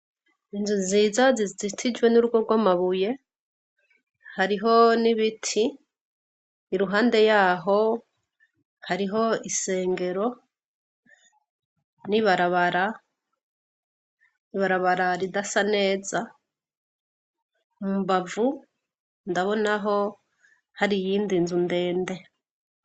Inzu nziza zizitijwe nurugo rw'amabuye hariho nibiti iruhande yabo hariho isengero nibarabara ridasa neza, mumbavu ndabonaho hari iyindi nzu ndende.